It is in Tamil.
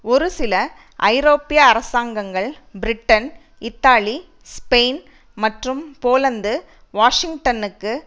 ஒரு சில ஐரோப்பிய அரசாங்கங்கள் பிரிட்டன் இத்தாலி ஸ்பெயின் மற்றும் போலந்து வாஷிங்டனுக்கு